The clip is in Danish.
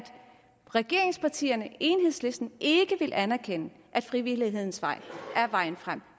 regeringspartierne og enhedslisten ikke vil anerkende at frivillighedens vej er vejen frem